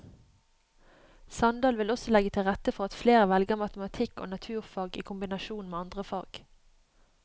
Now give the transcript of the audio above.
Sandal vil også legge til rette for at flere velger matematikk og naturfag i kombinasjon med andre fag.